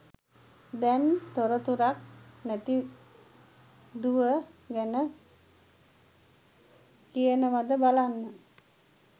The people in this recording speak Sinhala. දැං තොරතුරක් නැති දුව ගැන කියනවද බලන්න